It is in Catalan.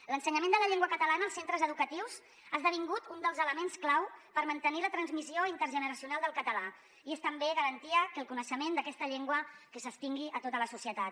l’ensenyament de la llengua catalana als centres educatius ha esdevingut un dels elements clau per mantenir la transmissió intergeneracional del català i és també garantia que el coneixement d’aquesta llengua s’estengui a tota la societat